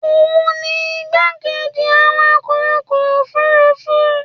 òun ni igbákejì awakọ̀ ọkọ̀ òfurufú